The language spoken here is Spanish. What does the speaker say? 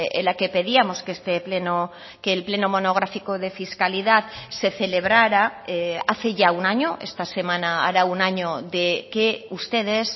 en la que pedíamos que este pleno que el pleno monográfico de fiscalidad se celebrara hace ya un año esta semana hará un año de que ustedes